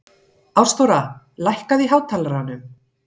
Ástþóra, lækkaðu í hátalaranum.